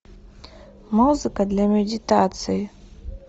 музыка для медитации